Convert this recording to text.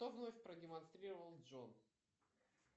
что вновь продемонстрировал джон